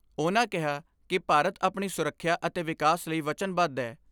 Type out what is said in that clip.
ਉਨ੍ਹਾਂ ਕਿਹਾ ਕਿ ਭਾਰਤ ਆਪਣੀ ਸੁਰੱਖਿਆ ਅਤੇ ਵਿਕਾਸ ਲਈ ਵਚਨਬੱਧ ਏ।